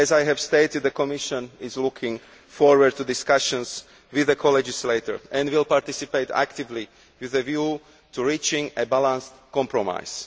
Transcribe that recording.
As I have stated, the Commission is looking forward to discussions with the co legislators and will participate actively with a view to reaching a balanced compromise.